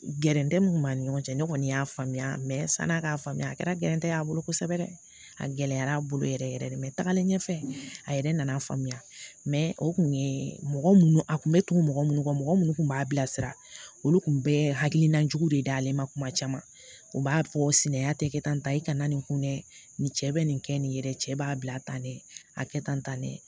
Gɛrɛntɛ mun kun b'a ni ɲɔgɔn cɛ ne kɔni y'a faamuya san'a k'a faamuya a kɛra gɛntɛ ye a bolo kosɛbɛ dɛ a gɛlɛyara yɛrɛ yɛrɛ de mɛ tagalen ɲɛfɛ a yɛrɛ nana faamuya o kun ye mɔgɔ minnu a kun be tugu mɔgɔ munnu ka mɔgɔ minnu kun b'a bilasira olu kun bɛɛ hakilina jugu de dalen ma kuma caman u b'a fɔ sinanya te kɛ tan ta i kana nin kun dɛ nin cɛ bɛ nin kɛ nin yɛrɛ ye cɛ b'a bila tan dɛ a kɛ tan ne